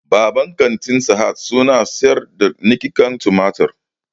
Babban kantin sahad su na sayar da niƙaken tumatir